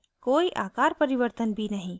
कोई आकार परिवर्तन भी नहीं